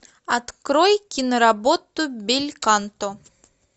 открой киноработу бельканто